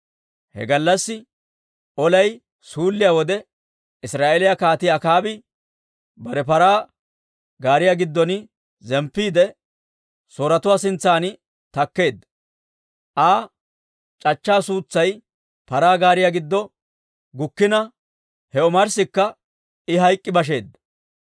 He gallassi olay suulliyaa wode, Israa'eeliyaa Kaatii Akaabi bare paraa gaariyaa giddon zemppiide, Sooretuwaa sintsan takkeedda. Aa c'achchaa suutsay paraa gaariyaa giddo gukkina, he omarssikka I hayk'k'i basheedda.